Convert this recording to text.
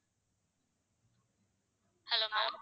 hello ma'am